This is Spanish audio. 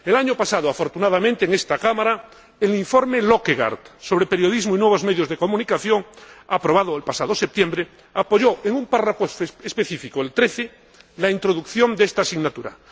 El año pasado, afortunadamente, en esta Cámara, el informe Løkkegaard sobre periodismo y nuevos medios de comunicación, aprobado en septiembre, apoyó en su apartado 13 la introducción de esta asignatura.